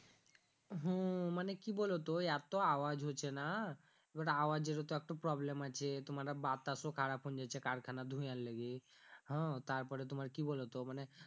হু মানে কি বলো তো এতো আওয়াজ হছে না এবার আওয়াজ এর ও তো একটা problem আছে তুমার বাতাস ও খারাপ হুন যেছে কারখানার ধুয়ার লেগি হু তারপরে তুমার কি বোলো তো মানে